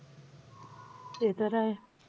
ते तर आहे.